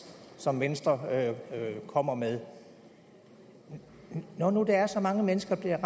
som venstre kommer med når nu der er så mange mennesker der